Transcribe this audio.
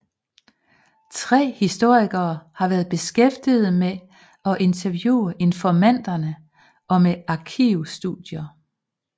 Tre historikere har været beskæftiget med at interviewe informanterne og med arkivstudier